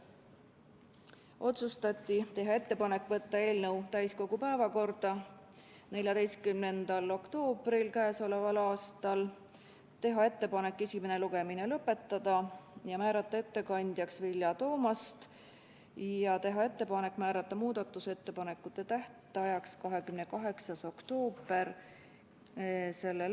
Otsustati teha ettepanek võtta eelnõu täiskogu päevakorda 14. oktoobriks k.a, teha ettepanek esimene lugemine lõpetada ja määrata ettekandjaks Vilja Toomast ning teha ettepanek määrata muudatusettepanekute tähtajaks 28. oktoober s.